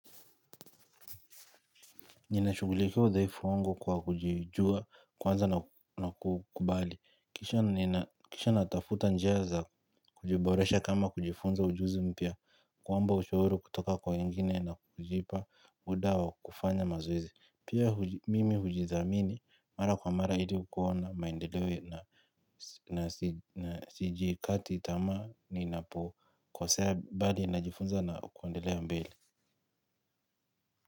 Ninashugulikia udhaifu wangu kwa kujijua, kwanza na kukubali. Kisha natafuta njia za kujiboresha kama kujifunza ujuzi mpia. Kuomba ushauru kutoka kwa wengine na kujipa mdawa kufanya mazoezi. Pia mimi hujizamini, mara kwa mara ili kuhona maendeleo na sijiikati itama ni napo kosea bali najifunza na kuendelea mbele.